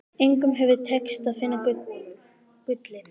Engum hefur tekist að finna gullið.